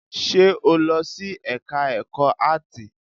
Ṣe o lọ sí ẹka ẹ̀kọ́ áàtì?